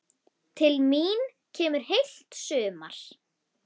Til mín kemur heilt sumar.